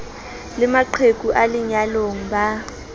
le maqheku a lenyalong ba